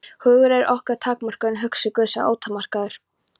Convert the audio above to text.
Hugur okkar er takmarkaður, en hugur Guðs er ótakmarkaður.